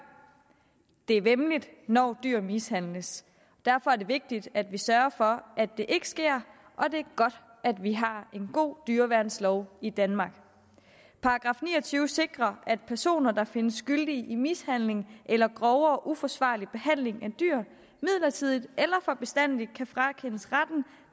det er væmmeligt når dyr mishandles derfor er det vigtigt at vi sørger for at det ikke sker og det er godt at vi har en god dyreværnslov i danmark § ni og tyve sikrer at personer der findes skyldige i mishandling eller grov og uforsvarlig behandling af dyr midlertidigt eller for bestandig frakendes retten